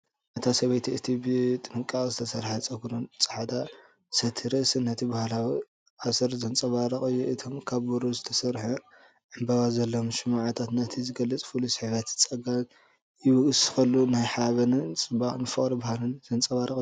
እታ ሰበይቲ እቲ ብጥንቃቐ ዝተሰርሐ ቅዲ ጸጉርን ጻዕዳ ሰቲ ርእሲን ነቲ ባህላዊ ኣሰር ዘንጸባርቕ እዩ። እቶም ካብ ብሩር ዝተሰርሑ ዕምባባ ዘለዎም ሽምዓታት ነቲ ገጽ ፍሉይ ስሕበትን ጸጋን ይውስኹሉ። ናይ ሓበንን ጽባቐን ፍቕሪ ባህልን ዘንጸባርቕ እዩ።